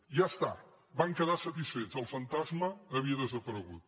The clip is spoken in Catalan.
ja està van quedar satisfets el fantasma havia desaparegut